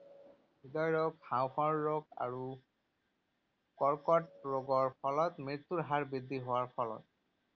হৃদয়ৰোগ, হাঁওফাঁওৰ ৰোগ আৰু কৰ্কট ৰোগৰ ফলত মৃত্যুৰ হাৰ বৃদ্ধি হোৱাৰ ফলত।